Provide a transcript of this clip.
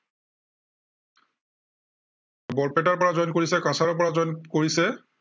বৰপেটাৰ পৰা join কৰিছে, কাছাৰৰ পৰা join কৰিছে।